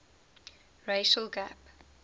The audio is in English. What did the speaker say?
racial gap